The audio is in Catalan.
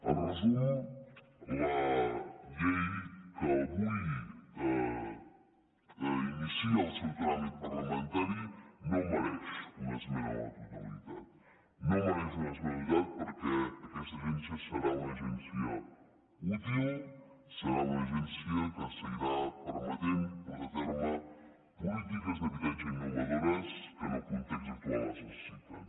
en resum la llei que avui inicia el seu tràmit parlamentari no mereix una esmena a la totalitat no mereix una esmena a la totalitat perquè aquesta agència serà una agència útil serà una agència que seguirà permetent portar a terme polítiques d’habitatge innovadores que en el context actual es necessiten